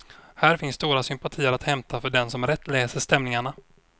Här finns stora sympatier att hämta för den som rätt läser stämningarna.